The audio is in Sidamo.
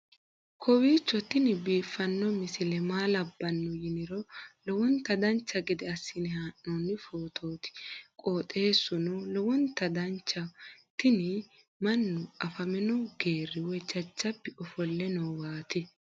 kowiicho tini biiffanno misile maa labbanno yiniro lowonta dancha gede assine haa'noonni foototi qoxeessuno lowonta danachaho. tini mannu afamino geeri woy jajjabbi ofolle nooowaati